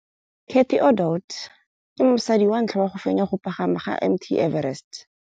Cathy Odowd ke mosadi wa ntlha wa go fenya go pagama ga Mt Everest.